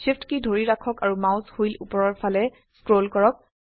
SHIFT key ধৰি ৰাখক আৰু মাউস হুইল উপৰৰ ফালে স্ক্ৰল কৰক